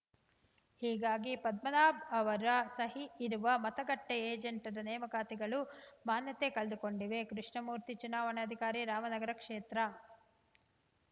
ಹೀಗಾಗಿ ಪದ್ಮನಾಭ್‌ ಅವರ ಸಹಿ ಇರುವ ಮತಗಟ್ಟೆಏಜೆಂಟರ ನೇಮಕಾತಿಗಳು ಮಾನ್ಯತೆ ಕಳೆದುಕೊಂಡಿವೆ ಕೃಷ್ಣಮೂರ್ತಿ ಚುನಾವಣಾಧಿಕಾರಿ ರಾಮನಗರ ಕ್ಷೇತ್ರ